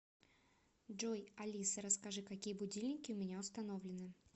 джой алиса расскажи какие будильники у меня установлены